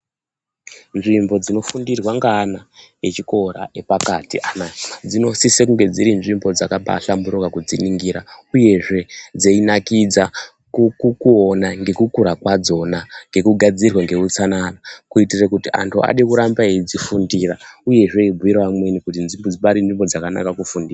Nzvimbo dzinofundirwa ngeana echikora epakati anaya dzinosise kunge dzirinzvimbo dzakabaahlamburuka kudziningira uyezve dzeinakidza kuona ngekukura kwadzona ngekugadzirwa ngeutsanana kuititire kuti anhu ade kuramba eide kudzifundira uyezve eibhuyire amweni kuti pane nzvimbo dzakanaka kufundira .